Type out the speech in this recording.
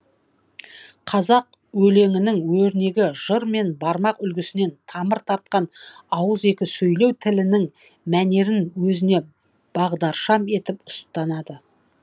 қазақ өлеңінің өрнегі жыр мен бармақ үлгісінен тамыр тартқан ауызекі сөйлеу тілінің мәнерін өзіне бағдаршам етіп ұстанады